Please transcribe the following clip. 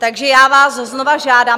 Takže já vás znova žádám.